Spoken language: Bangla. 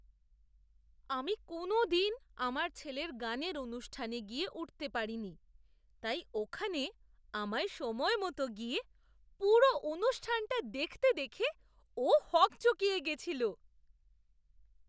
আমি কোনোদিন আমার ছেলের গানের অনুষ্ঠানে গিয়ে উঠতে পারিনি, তাই ওখানে আমায় সময়মত গিয়ে পুরো অনুষ্ঠানটা দেখতে দেখে ও হকচকিয়ে গেছিল!